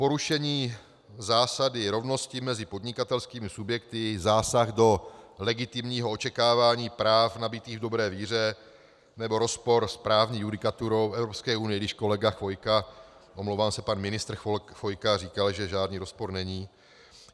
Porušení zásady rovnosti mezi podnikatelskými subjekty, zásah do legitimního očekávání práv nabytých v dobré víře nebo rozpor s právní judikaturou EU, i když kolega Chvojka - omlouvám se, pan ministr Chvojka - říkal, že žádný rozpor není.